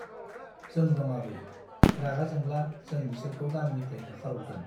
जों दं आबै , रागा जोंब्ला जो बिसोरखौ गामिनिफ्राइ होखार हरगोन ।